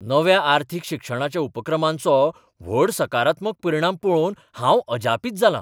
नव्या अर्थीक शिक्षणाच्या उपक्रमांचो व्हड सकारात्मक परिणाम पळोवन हांव अज़ापित जालां.